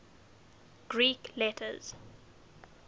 greek letters